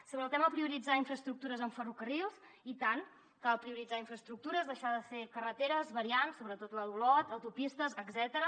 sobre el tema de prioritzar infraestructures en ferrocarrils i tant cal prioritzar infraestructures deixar de fer carreteres variants sobretot la d’olot autopistes etcètera